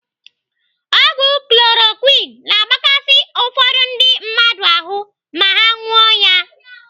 Ọgwụ chloroquine na-agbakasi ụfọdụ ndị mmadụ ahụ ma ha ṅụọ ya.